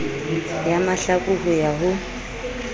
ya mahlaku ho ya ho